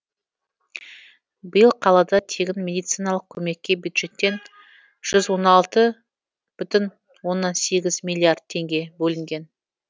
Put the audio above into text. биыл қалада тегін медициналық көмекке бюджеттен жүз он алты бүтін оннан сегіз миллиард теңге бөлінген